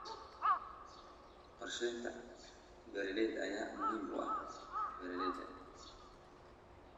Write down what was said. Qorshaynta beeralayda ayaa muhiim u ah beeralayda.